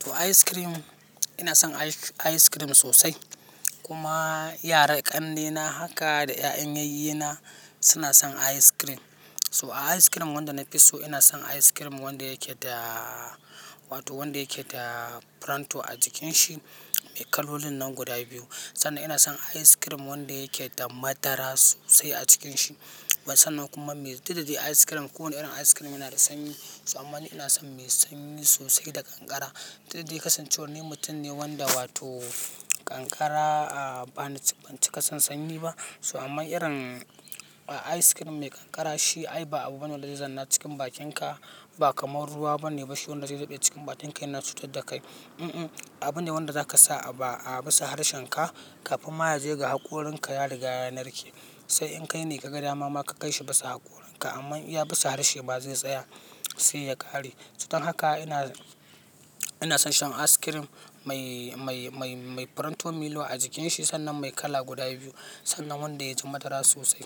To ice cream, ina son ice cream sosai kuma yara ƙannena haka da 'yan yayyeana suna son ice cream. To ice cream wanda na fi so ina son ice cream wanda yake da, wato wanda yake da pronto a jikin shi mai kalolin nan guda biyu. Sannan ina son ice cream wanda yake da madara sosai a cikin shi. Sannan kuma mai duk da dai ice cream, kowane irin ice cream yana da sanyi. To aman ina son mai sanyi sosai da kankara. Duk da dai ni kasancewar ni mutum ne wanda wato kankara a ba na, ban ci ƙasan sanyi ba. To aman irin a ice cream mai kankara shi ai ba abu bane wanda zai zanna cikin bakinka. Ba kamar ruwa bane ba shi wanda zai dade cikin bakinka yana cutar da kai. Mm-mm, abu ne wanda zaka sa a bissa harshenka kafin maya ya je ga hakorinka ya riga yanar ke. Sai in kai ne ka gada mama ka kai shi bisa hakorinka. Aman ya bisa harshe ba zai tsaya sai ya ƙare. To don haka ina, ina son shan ice cream mai, mai, mai, mai pronto Milo a jikin shi. Sannan mai kala guda biyu. Sannan wanda ya ji madara sosai.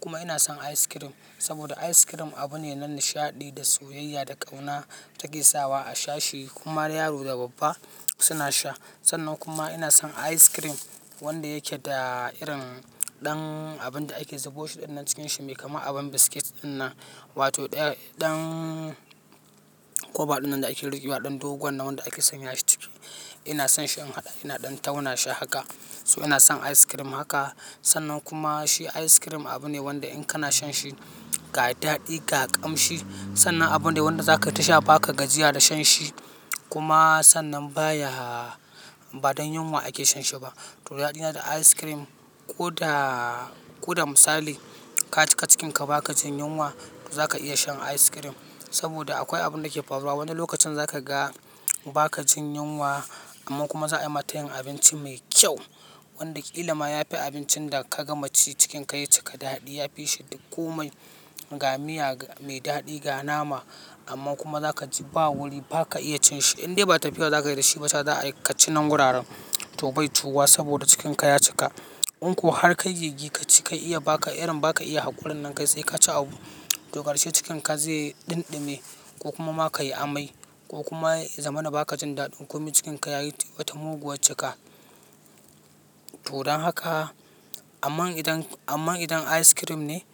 Kuma ina son ice cream saboda ice cream abu ne na nishaɗi da soyayya da ƙauna take sawa a sha shi. Kuma yaro da babba suna sha. Sannan kuma ina son ice cream wanda yake da irin ɗan abun da ake zuba shi ɗan cikin shi mai kama abin biskit ɗinnan. Wato ɗan, ɗan koba ɗinnan da ake ruƙi wa, ɗan dogon nan wanda ake sanya shi ciki. Ina son shi in, ina ɗan tauna shi haka. To ina son ice cream haka. Sannan kuma shi ice cream abu ne wanda in kana shan shi ka yi daɗi, ka ƙamshi. Sannan abune wanda zaka tasha ba ka gajiya da shan shi. Kuma sannan baya, ba don yunwa ake shan shi ba. To daɗina da ice cream ko da, ko da misali ka cika cikinka ba ka jin yunwa, za ka iya shan ice cream. Saboda akwai abun da ke faruwa, wani lokacin za ka ga ba ka jin yunwa amma kuma za a yi ma ta yin abinci mai kyau. Wanda ƙilama ya fi abincin da ka gama ci cikin ka ya cika daɗi. Ya fi shi duk kome, ga miya mai daɗi, ga nama. Amma kuma za ka ji ba wuri ba ka iya cin shi. Indai ba tafiya za ka yi da shi ba, za ka ci nan gurara. To bai tuwa saboda cikin ka ya cika. Unko har kai gigice ka yi iya ba ka, irin ba ka iya hakorin nan kai sai ka ci abu. To ƙarshe cikin ka zai ɗinɗime ko kuma ma ka yi amai. Ko kuma ya zama na ba ka jin daɗi. Kome cikin ka ya yi wata muguwa cika. To don haka, aman idan, aman idan ice cream ne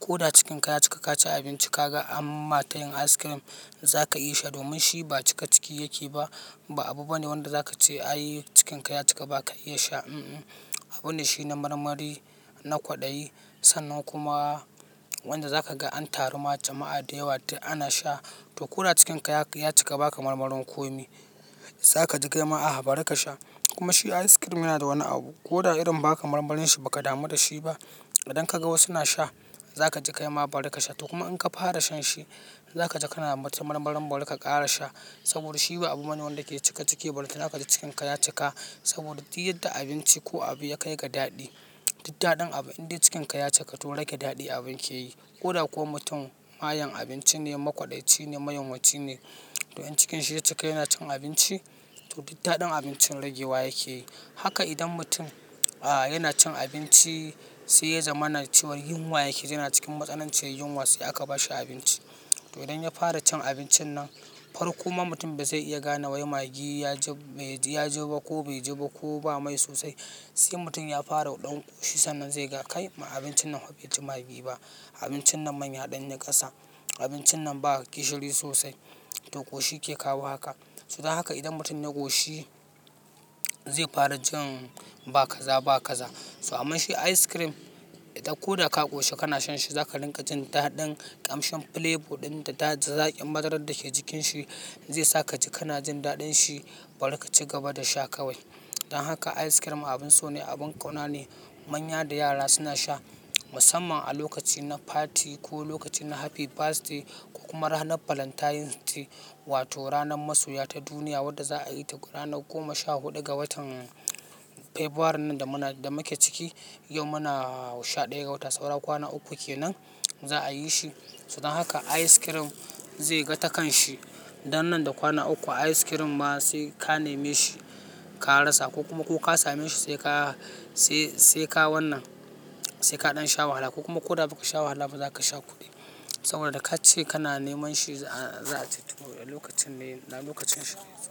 ko da cikin ka ya cika ka ci abinci ka ga an ma ta yin ice cream, za ka iya sha. Domin shi ba cika ciki yake ba. Ba abu bane wanda za ka ce ayi cikin ka ya cika ba ka iya sha, mm-mm. Abu ne shi na marmari, na kwaɗayi. Sannan kuma wanda za ka ga an taru ma jama'a da yawa ana sha. To ko da cikin ka ya cika ba ka marmarin kome, za ka ji ƙaima a bari ka sha. Kuma shi ice cream yana da wani abu, ko da irin ba ka marmarin shi ba ka damu da shi ba, idan ka ga wasu suna sha za ka ji ƙaima bari ka sha. To kuma in ka fara shan shi, za ka ji kana mata marmarin bari ka ƙara sha. Saboda shi ba abu bane wanda yake cika ciki balantana ka ji cikin ka ya cika. Saboda duk yadda abinci ko abu ya kai ga daɗi, duk daɗin abu indai cikin ka ya cika to rage daɗin abun yake yi. Ko da ko mutum mayen abinci ne, makwaɗaici ne, mayun waci ne. To in cikin shi ya cika yana cin abinci, to duk daɗin abincin ragewa yake yi. Haka idan mutum a yana cin abinci sai ya zama na ciwar yunwa yake zama cikin matsanancin yunwa sai aka ba shi abinci. To idan ya fara cin abincin nan, farko ma mutum ba zai iya gane wai maggi ya ji, ya ji ba ko bai ji ba ko ba mai sosai. Sai mutum ya fara ɗan ƙoshi sannan zai ga kai ma abincin nan ba shi taimaki maggi ba. Abincin nan manya ɗannin ƙasa. Abincin nan ba ga kishiri sosai. To ƙoshi ke kawo haka. To don haka idan mutum ya ƙoshi zai fara jin ba kaza ba kaza. To amma shi ice cream idan ko da ka ƙoshi kana shan shi za ka ringa jin daɗin ƙamshin flavor ɗin da daɗin zaƙin madarar da ke cikin shi zai sa ka ji kana jin daɗin shi bari ka ci gaba da sha kawai. Don haka ice cream abin so ne, abin ƙauna ne. Manya da yara suna sha musamman a lokaci na fati ko lokaci na happy birthday. Kuma ranar valentine's day wato ranar masoya ta duniya wadda za a yi ta ranar goma sha huɗu ga watan february nan da muna, da muke ciki. Yau muna sha ɗaya ga wata. Saura kwana uku kenan za a yi shi. To don haka ice cream zai ga takan shi. Nan da kwana uku ice cream am sai aknemi shi kara sa ko ka sameshi ka rasa sannan zaka iya samun shi saboda da ka ce kana neman shi a, za lokacin ne, a lokacin shi.